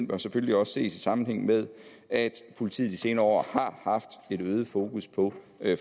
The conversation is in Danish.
bør selvfølgelig også ses i sammenhæng med at politiet de senere år har haft et øget fokus på